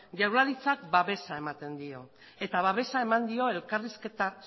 jaurlaritzak babesa ematen dio eta babesa eman dio elkarrizketa